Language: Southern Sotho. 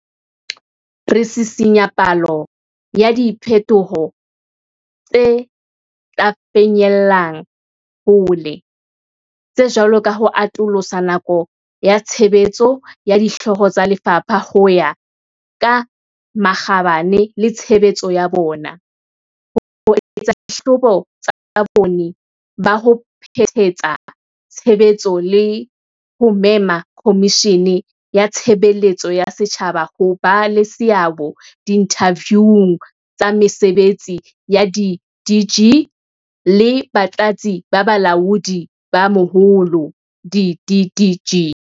Re sisinya palo ya diphe toho tse tla finyellang hole, tse jwalo ka ho atolosa nako ya tshebetso ya Dihlooho tsa Lefapha ho ya ka makgabane le tshebetso ya bona, ho etsa dihlahlobo tsa bokgoni ba ho phethahatsa tshebetso le ho mema Komishini ya Tshe beletso ya Setjhaba ho ba le seabo diinthaviung tsa mese betsi ya di-DG le Batlatsi ba Balaodi ba Moholo, di-DDG.